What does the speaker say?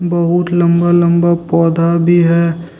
बहुत लम्बा लम्बा पौधा भी है।